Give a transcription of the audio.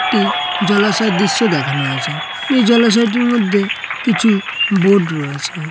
একটিজলাশয়ের দৃশ্য দেখানো হয়েছে এই জলাশয়টির মধ্যে কিছুবোর্ড রয়েছে।